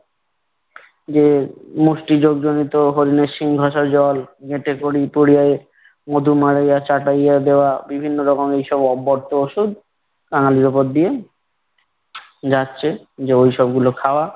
যে মুষ্ঠি জর্জরিত হরিণের সিং ঘষা জল মধু মাড়াইয়া চাটাইয়ে দেওয়া বিভিন্ন রকমের এসব অভ্যর্থ ঔষুধ কাঙালির উপর দিয়ে যাচ্ছে যে ঐসব গুলো খাওয়া।